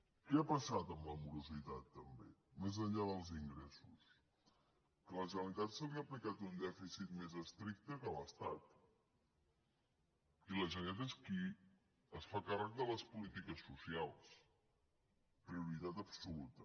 què ha passat amb la morositat també més enllà dels ingressos que a la generalitat se li ha aplicat un dèficit més estricte que a l’estat i la generalitat és qui es fa càrrec de les polítiques socials prioritat absoluta